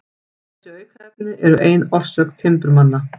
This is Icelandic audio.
Þessi aukaefni eru ein orsök timburmanna.